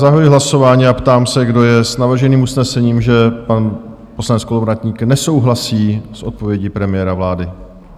Zahajuji hlasování a ptám se, kdo je s navrženým usnesením, že pan poslanec Kolovratník nesouhlasí s odpovědí premiéra vlády?